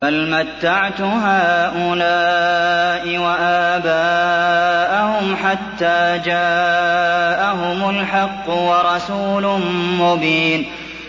بَلْ مَتَّعْتُ هَٰؤُلَاءِ وَآبَاءَهُمْ حَتَّىٰ جَاءَهُمُ الْحَقُّ وَرَسُولٌ مُّبِينٌ